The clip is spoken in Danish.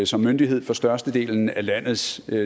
som myndighed for størstedelen af landets